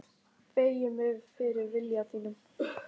Beygi mig fyrir vilja þínum.